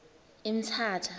emthatha